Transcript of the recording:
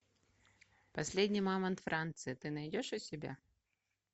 последний мамонт франции ты найдешь у себя